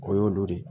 O y'olu de